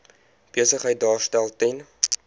besigheid daarstel ten